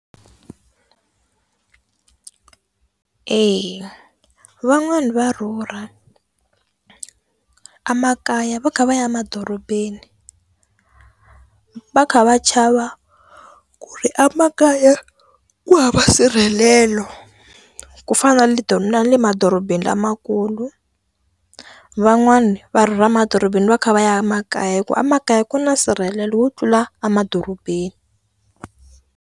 Eya van'wani va rhurha a makaya va kha va ya emadorobeni va kha va chava ku ri a makaya ku hava nsirhelelo ku fana na leto na le madorobeni lamakulu van'wani va rhurha emadorobeni va kha va ya emakaya hikuva emakaya ku na nsirhelelo wo tlula a madorobeni.